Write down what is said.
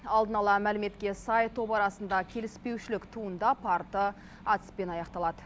алдын ала мәліметке сай топ арасында келіспеушілік туындап арты атыспен аяқталады